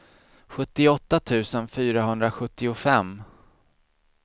sjuttioåtta tusen fyrahundrasjuttiofem